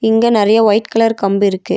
இங்க நெறைய white colour கம்பு இருக்கு.